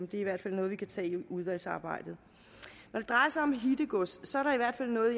det er i hvert fald noget vi kan tage i udvalgsarbejdet når det drejer sig om hittegodset